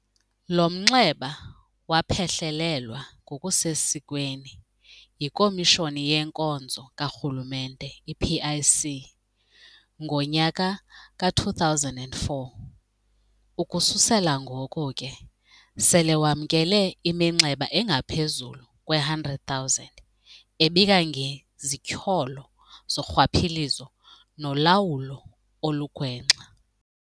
Lo mnxeba waphehlelelwa ngokusesikweni yiKomishoni yeNkonzo kaRhulumente, i-PIC, ngonyaka ka-2004, ukususela ngoko ke sele wamkele iminxeba engaphezulu kwe-100 000 ebika ngezityholo zorhwaphilizo nolawulo olugwenxa.